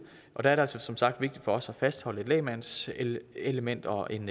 og der er det altså som sagt vigtigt for os at fastholde et lægmandselement og en